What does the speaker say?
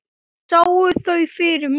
Og sá þau fyrir mér.